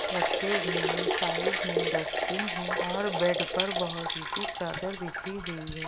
रखे हुए हैं साइड में डस्टबिन है और बेड पर चादर बिछी हुई है।